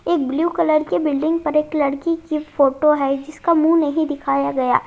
एक blue colour के building पर एक लड़की की फोटो है जिसका मुंह नहीं दिखाया गया--